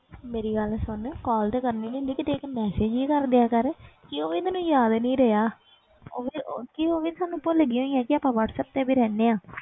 ਮੇਰੀ ਗੱਲ ਸੁਣ call ਤੇ ਕਰਨੀ ਨੀ ਹੁੰਦੀ ਵੀ ਦੇਖ message ਹੀ ਕਰ ਦਿਆ ਕਰ ਕਿ ਉਹ ਵੀ ਤੈਨੂੰ ਯਾਦ ਨੀ ਰਿਹਾ ਉਹ ਵੀ ਤੇ ਉਹ ਕਿ ਉਹ ਵੀ ਸਾਨੂੰ ਭੁੱਲ ਗਈ ਹੈ ਕਿ ਆਪਾਂ ਵਾਟਸੈਪ ਤੇ ਵੀ ਰਹਿੰਦੇ ਹਾਂ।